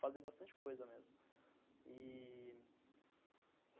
fazer bastante coisa mesmo e...